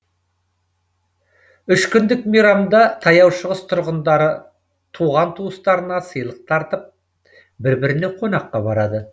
үш күндік мейрамда таяу шығыс тұрғындары туған туыстарына сыйлық тартып бір біріне қонаққа барады